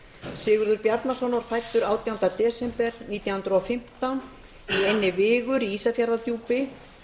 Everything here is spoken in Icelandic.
sigurður bjarnason var fæddur átjánda desember nítján hundruð og fimmtán í eynni vigur í ísafjarðardjúpi